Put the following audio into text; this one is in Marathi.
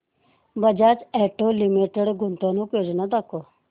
बजाज ऑटो लिमिटेड गुंतवणूक योजना दाखव